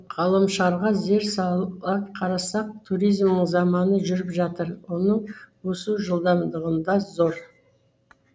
ғаламшарға зер сала қарасақ туризмнің заманы жүріп жатыр оның өсу жылдамдығында зор